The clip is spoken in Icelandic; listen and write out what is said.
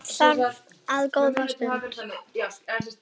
Hann þagði enn góða stund.